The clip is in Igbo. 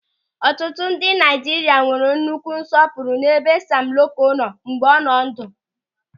Ọtụtụ ndị Naịjirịa nwere nnukwu nsọpụrụ n'ebe Sam Loko nọ mgbe ọ dị ndụ.